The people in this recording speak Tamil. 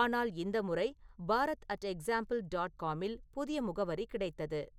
ஆனால் இந்த முறை பாரத் அட் எக்சாம்பிள் டாட் காமில் புதிய முகவரி கிடைத்தது